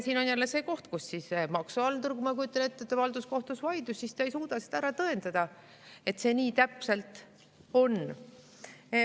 Siin on jälle see koht, ma kujutan ette, kus maksuhaldur, kui halduskohtus on vaidlus, ei suuda seda ära tõendada, et see nii täpselt on.